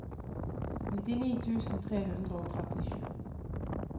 nittini tusen tre hundre og trettisju